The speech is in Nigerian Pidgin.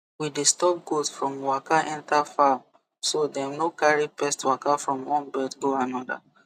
we dey stop goat from waka enter farm so dem no carry pest waka from one bed go another